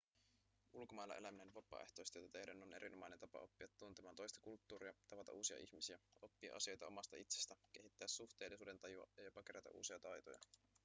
ulkomailla eläminen vapaaehtoistyötä tehden on erinomainen tapa oppia tuntemaan toista kulttuuria tavata uusia ihmisiä oppia asioita omasta itsestä kehittää suhteellisuudentajua ja jopa kerätä uusia taitoja